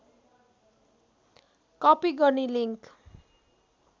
copy गर्ने link